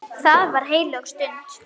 Það var heilög stund.